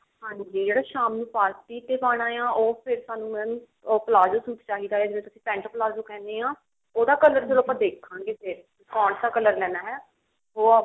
ਹਾਂਜੀ or ਸ਼ਾਮ ਨੂੰ party ਤੇ ਪਾਉਣਾ ਆ ਉਹ ਫ਼ੇਰ ਸਾਨੂੰ mam ਉਹ ਪਲਾਜੋ ਸੂਟ ਚਾਹੀਦਾ ਆ ਜਿਹਨੂੰ ਤੁਸੀਂ ਪੇੰਟ ਪਲਾਜੋ ਕਿਹਨੇ ਹੋ ਉਹਦਾ color ਚਲੋ ਦੇਖਾਂਗੇ ਫ਼ੇਰ ਕੋਨਸਾ color ਲੈਣਾ ਹੈ